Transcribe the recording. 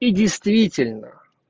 и действительно